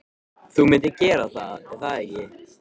Þú myndir gera það, er það ekki?